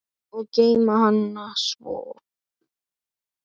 Og geyma hana svo.